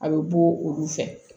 A bɛ bɔ olu fɛ